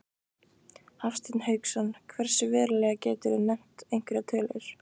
Hafsteinn Hauksson: Hversu verulega, geturðu nefnt einhverjar tölur?